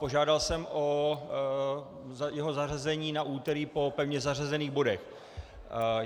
Požádal jsem o jeho zařazení na úterý po pevně zařazených bodech.